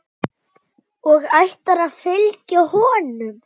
Og ætlarðu að fylgja honum?